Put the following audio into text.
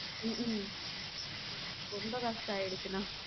உம் ரொம்ப கஷ்டம் ஆகிருச்சுன.